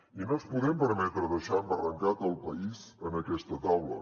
i no ens podem permetre deixar embarrancat el país en aquesta taula